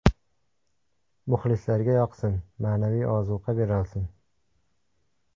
Muxlislarga yoqsin, ma’naviy ozuqa berolsin.